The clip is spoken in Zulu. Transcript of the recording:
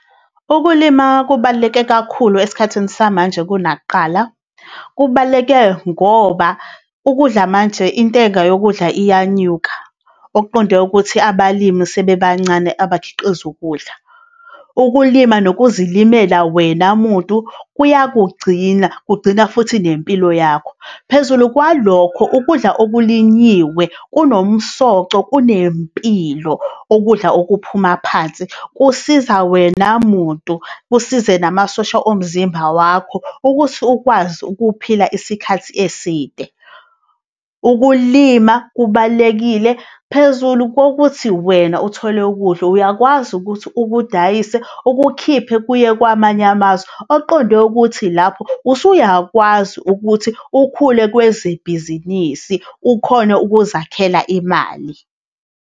Ukulima kubaluleke kakhulu esikhathini samanje kunakuqala. Kubaluleke ngoba ukudla manje intenga yokudla iyanyuka. Okuqonde ukuthi, abalimi sebebancane abakhiqizi ukudla. Ukulima nokuzilimela wena muntu kuyakugcina kugcina futhi nempilo yakho. Phezulu kwalokho, ukudla okulinyiwe kunomsoco, kunempilo, ukudla okuphuma phansi. Kusiza wena muntu. Kusize namasosha omzimba wakho ukuthi ukwazi ukuphila isikhathi eside. Ukulima kubalulekile phezulu kokuthi wena uthole ukudla, uyakwazi ukuthi ukudayise ukukhiphe kuye kwamanye amazwe oqondwe ukuthi lapho usuyakwazi ukuthi ukhule kwezibhizinisi ukhone ukuzakhela imali.